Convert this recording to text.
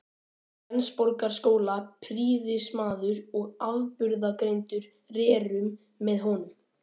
Flensborgarskóla, prýðismaður og afburðagreindur, rerum með honum.